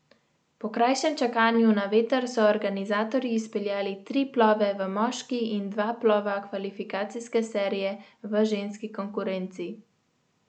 Po krajšem čakanju na veter so organizatorji izpeljali tri plove v moški in dva plova kvalifikacijske serije v ženski konkurenci.